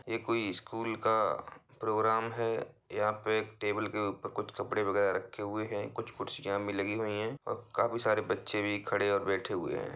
ये कोई स्कूल का प्रोग्राम है। यहाँ पे एक टेबल के ऊपर कुछ कपड़े वगेरा रखे हुए हैं कुछ कुर्सियाँ भी लगी हुई हैं और काफी सारे बच्चे भी खड़े और बैठे हुए हैं।